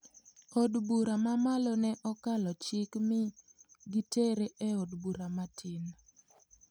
Od bura ma malo ne okalo chik mi gitere e od bura matin.